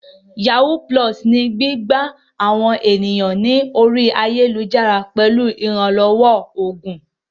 Yàwúú pulọọ̀sì ni gbígbá àwọn ènìyàn ní orí ayélujára pẹ̀lú ìrànlọ́wọ́ oògùn.